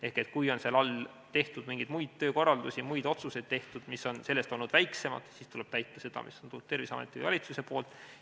Ehk kui allpool on jagatud mingeid muid töökorraldusi, tehtud muid otsuseid, mis on olnud väiksemad, siis tuleb täita seda, mis on tulnud Terviseameti või valitsuse poolt.